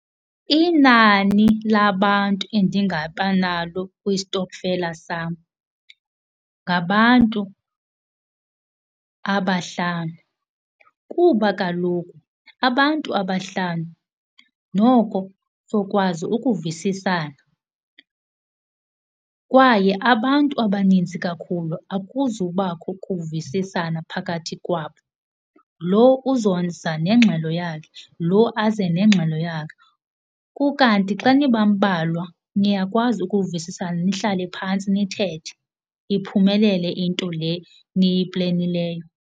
Inani labantu endingaba nalo kwistokfela sam ngabantu abahlanu kuba kaloku abantu abahlanu noko sokwazi ukuvisisana, kwaye abantu abaninzi kakhulu akuzubakho kuvisisana phakathi kwabo. Loo uzoza nengxelo yakhe, loo aze nengxelo yakhe. Kukanti xa nibambalwa niyakwazi ukuvisisana nihlale phantsi nithethe iphumelele into le niyiplenileyo.